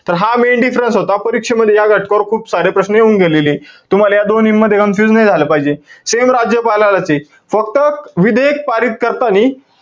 तर हा main difference होता. परीक्षेमध्ये या घटकावर खूप सारे प्रश्न येऊन गेलेलेय. तुम्हाला या दोन्हींमध्ये confuse नाई झालं पाहिजे. Same राज्यपालालाचे. फक्त विधेयक पारित करतानी,